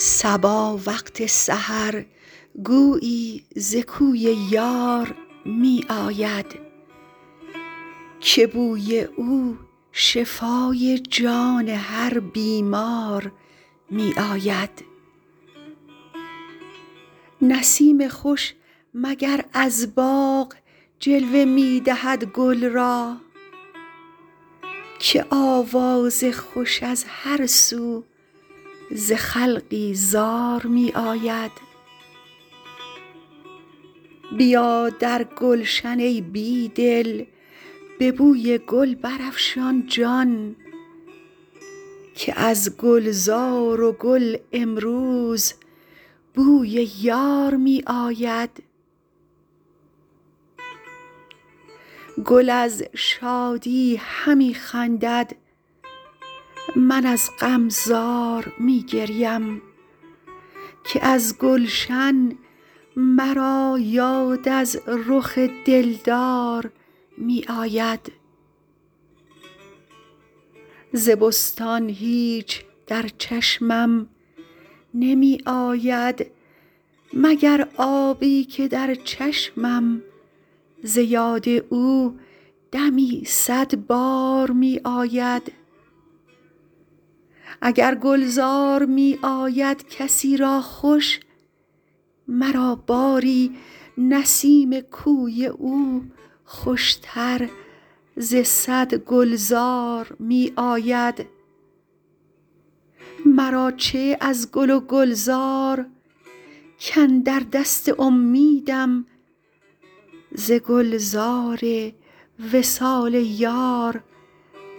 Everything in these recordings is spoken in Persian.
صبا وقت سحر گویی ز کوی یار می آید که بوی او شفای جان هر بیمار می آید نسیم خوش مگر از باغ جلوه می دهد گل را که آواز خوش از هر سو ز خلقی زار می آید بیا در گلشن ای بی دل به بوی گل برافشان جان که از گلزار و گل امروز بوی یار می آید گل از شادی همی خندد من از غم زار می گریم که از گلشن مرا یاد از رخ دلدار می آید ز بستان هیچ در چشمم نمی آید مگر آبی که در چشمم ز یاد او دمی صدبار می آید اگر گلزار می آید کسی را خوش مرا باری نسیم کوی او خوشتر ز صد گلزار می آید مرا چه از گل و گلزار کاندر دست امیدم ز گلزار وصال یار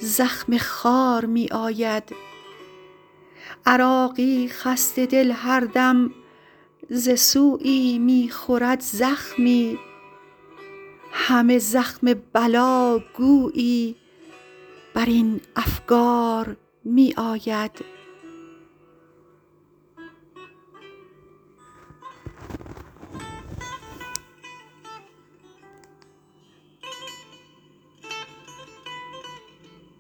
زخم خار می آید عراقی خسته دل هردم ز سویی می خورد زخمی همه زخم بلا گویی برین افگار می آید